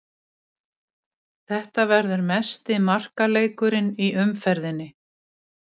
Þetta verður mesti markaleikurinn í umferðinni.